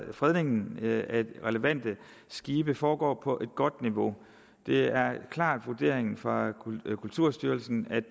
fredningen af relevante skibe foregår på et godt niveau det er en klar vurdering fra kulturstyrelsen at